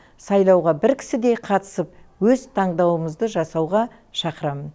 сайлауға бір кісідей қатысып өз таңдауымызды жасауға шақырамын